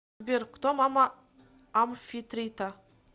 сбер кто мама амфитрита